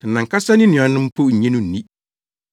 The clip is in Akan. Na nʼankasa ne nuanom mpo nnye no nni.